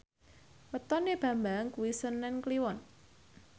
wetone Bambang kuwi senen Kliwon